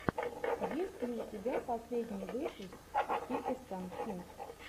есть ли у тебя последний выпуск кекистан кинг